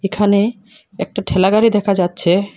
এখানে একটা ঠেলাগাড়ি দেখা যাচ্ছে।